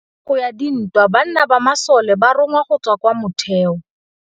Ka nakô ya dintwa banna ba masole ba rongwa go tswa kwa mothêô.